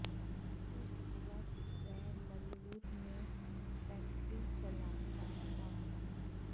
उस वक्त वह मलूर में फैक्ट्री चलाता था